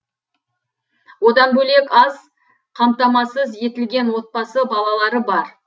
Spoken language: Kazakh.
одан бөлек аз қамтамасыз етілген отбасы балалары бар